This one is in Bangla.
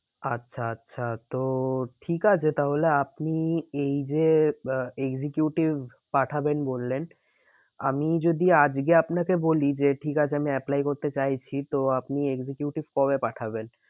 আচ্ছা আচ্ছা তো ঠিক আছে তাহলে আপনি এই যে আহ executive পাঠাবেন বললেন। আমি যদি আজকে আপনাকে বলি যে ঠিক আছে আমি apply করতে চাইছি তো আপনি executive কবে পাঠাবেন?